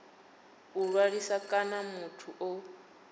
a ṅwalisaho kana muthu o